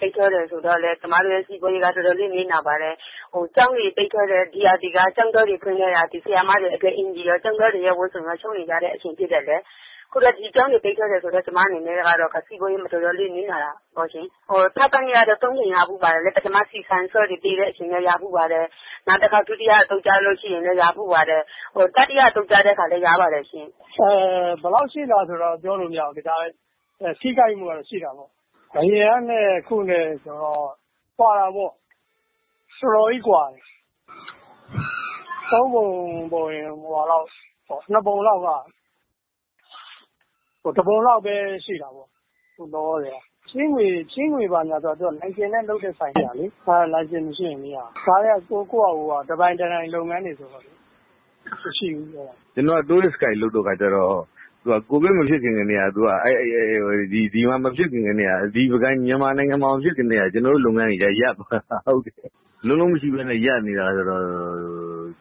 ပိတ်ထားတယ်ဆိုတော့ ကျမစီးပွားရေးက တော်တော်လေး ထိခိုက်နစ်နာပါတယ်။ ကျောင်းတွေက ပိတ်ထားတယ်။ ဒီရာသီက ကျောင်းတွေ ဖွင့်တော့ ဆရာမတွေ အင်္ကျီရော၊ ကျောင်းသားတွေ ဝတ်စုံရော ချုပ်နေကြရတဲ့ အချိန်ဖြစ်တယ်။ ခုလည်း ကျောင်းတွေ ပိတ်ထားတယ်ဆိုတော့ ကျမအနေနဲ့က စီးပွားရေးမှာ တော်တော်လေး နစ်နာတာပေါ့ရှင်။ ထောက်ပံ့ကြေးကတော့ ၃ ကြိမ်ရဖူးပါတယ်။ ပထမ ဆီ၊ ဆန်၊ ဆားတုန်းကလည်း ရဖူးပါတယ်။ နောက်တစ်ခေါက် ဒုတိယအကြိမ်တုန်းကလည်း ရဖူးပါတယ်။ တတိယအသုတ်တုန်းကလည်း ရပါတယ်ရှင့်။" "အင်း...ဘယ်လောက်ရှိသလဲဆိုတာတော့ ပြောလို့ မရဘူး၊ ထိခိုက်မှုကတော့ ရှိတာပေါ့။ အရင်ကနဲ့ အခုနဲ့ဆိုတော့ ကွာတာပေါ့။ တော်တော်ကြီးကွာတယ်။ ၃ ပုံ ပုံရင် ၂ ပုံလောက်က တစ်ပုံလောက်ပဲရှိတယ် လောလောဆယ်က။ ချေးငွေ ဘာညာဆိုတာကလည်း လိုင်စင်နဲ့ လုပ်တာတွေပဲ ရတာလေ လိုင်စင်မရှိတော့ မရဘူး။ ဒါက ကိုယ့်ဟာကို တစ်ပိုင်တစ်နိုင်လုပ်ငန်းတွေဆိုတော့လည်း မရှိဘူး။" "ကျနော်က Tourist Guide လုပ်တဲ့ခါကျတော့ သူက ကိုဗစ် ဒီမှာမဖြစ်ခင်ကတည်းက ဒီမြန်မာမှာ မဖြစ်ခင်ကတည်းက ကျနော်တို့လုပ်ငန်းတွေက ရပ်သွားတာကိုး။ လုံးလုံးမရှိဘဲနဲ့ ရပ်သွားတာဆိုတော့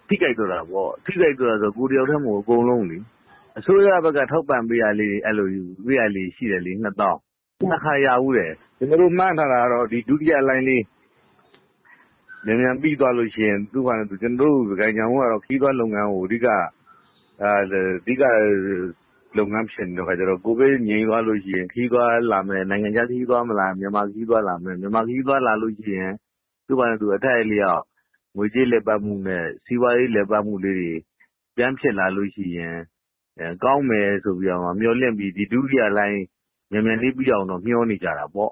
ထိခိုက်သွားတာပေါ့။ ထိခိုက်သွားတာဆို ကိုယ်တစ်ယောက်တည်းမဟုတ်ဘူး၊ အကုန်လုံးလေ။ အစိုးရဘက်က ထောက်ပံ့ပေးတာလေးတွေရှိတယ်လေ၊ ၂၀,၀၀၀။ ၂ ခါရဖူးတယ်။ ကျနော်တို့ မှန်းထားတာကတော့ ဒီ ဒုတိယလှိုင်းလေး မြန်မြန်ပြီးသွားလို့ရှိရင် ပုဂံညောင်ဦးကတော့ ခရီးသွားလုပ်ငန်းကို အဓိကထားတဲ့ခါကျတော့ ကိုဗစ်ငြိမ်သွားလို့ရှိရင် ခရီးသွားလာမယ်၊ နိုင်ငံခြား ခရီးသွားမလာရင်တောင် မြန်မာခရီးသွားလာမယ်ပေါ့။ အဲ့ဒါဆိုရင် သူ့ဟာနဲ့သူ အထိုက်အလျောက် ငွေကြေးလည်ပတ်သွားမယ်။ စီးပွားရေးလည်ပတ်မှုလေးတွေ ပြန်ဖြစ်လာလို့ရှိရင် ကောင်းမယ်ဆိုပြီး မျှော်လင့်ပြီး ဒီဒုတိယလှိုင်းမြန်မြန်လေးပြီးအောင်တော့ မျှော်နေကြတာပေါ့